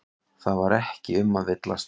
Það var ekki um að villast.